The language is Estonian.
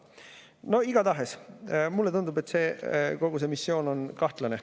Igatahes mulle tundub, et kogu see missioon on kahtlane.